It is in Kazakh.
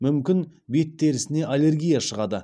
мүмкін бет терісіне аллегрия шығады